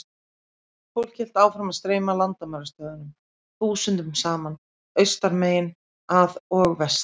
Fólk hélt áfram að streyma að landamærastöðvunum þúsundum saman, austan megin að og vestan.